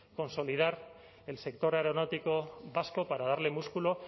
consolidar el sector aeronáutico vasco para darle músculo